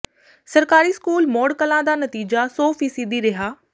ਸਰਕਾਰੀ ਸਕੂਲ ਮੌੜ ਕਲਾਂ ਦਾ ਨਤੀਜਾ ਸੌ ਫ਼ੀਸਦੀ ਰਿਹਾ